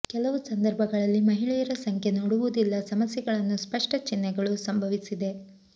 ಕೆಲವು ಸಂದರ್ಭಗಳಲ್ಲಿ ಮಹಿಳೆಯರ ಸಂಖ್ಯೆ ನೋಡುವುದಿಲ್ಲ ಸಮಸ್ಯೆಗಳನ್ನು ಸ್ಪಷ್ಟ ಚಿಹ್ನೆಗಳು ಸಂಭವಿಸಿದೆ